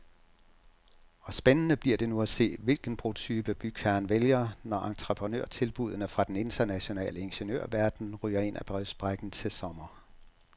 Og spændende bliver det nu at se, hvilken brotype bygherren vælger, når entreprenørtilbuddene fra den internationale ingeniørverden ryger ind ad brevsprækken til sommer.